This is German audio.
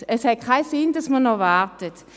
Es hat keinen Sinn, noch zu warten.